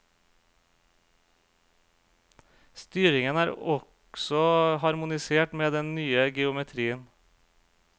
Styringen er også harmonisert med den nye geometrien.